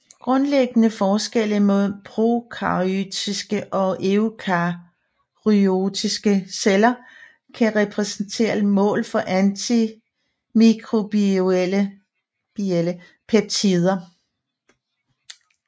Grundlæggende forskelle mellem prokaryote og eukaryote celler kan repræsentere mål for antimikrobielle peptider